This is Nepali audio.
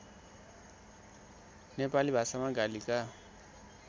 नेपाली भाषामा गालीका